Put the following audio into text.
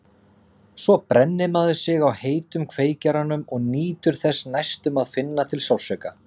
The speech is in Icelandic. Svo brennir maður sig á heitum kveikjaranum og nýtur þess næstum að finna til sársauka.